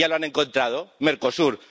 Ya lo han encontrado Mercosur.